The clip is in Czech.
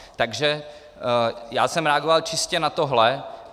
Takže já jsem reagoval čistě na tohle.